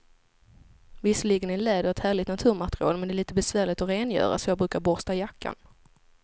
Visserligen är läder ett härligt naturmaterial, men det är lite besvärligt att rengöra, så jag brukar borsta jackan.